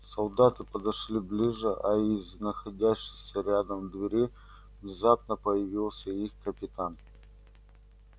солдаты подошли ближе а из находящейся рядом двери внезапно появился их капитан